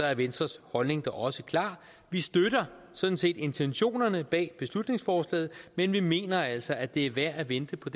er venstres holdning da også klar vi støtter sådan set intentionerne bag beslutningsforslaget men vi mener altså at det er værd at vente på